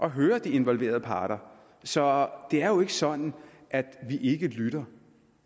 at høre de involverede parter så det er jo ikke sådan at vi ikke lytter